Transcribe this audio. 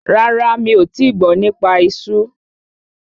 Rárá, mi ò tíì gbọ́ nípa esú.